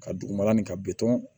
Ka dugumala nin ka bitɔn